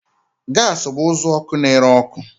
Gas bụ uzuọkụ na-ere ọkụ